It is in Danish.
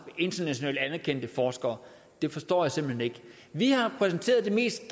internationalt anerkendte forskere det forstår jeg simpelt hen ikke vi har præsenteret det mest